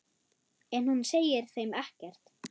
En hún segir þeim ekkert.